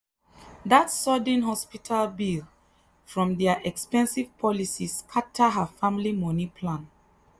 that sudden hospital bill from their expensive policy scatter her family money plan.